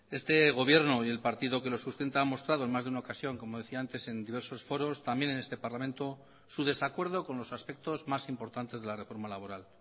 este gobierno y el partido que lo sustenta han mostrado en más de una ocasión como decía antes en diversos foros también en este parlamento su desacuerdo con los aspectos más importantes de la reforma laboral